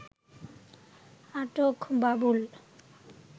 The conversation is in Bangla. আটক বাবুল